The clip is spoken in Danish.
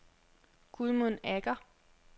Gudmund Agger